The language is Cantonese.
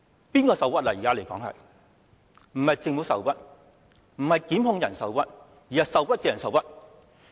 不是政府受屈，不是檢控人受屈，而是外傭受屈。